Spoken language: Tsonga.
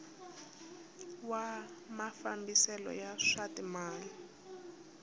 wa mafambiselo ya swa timal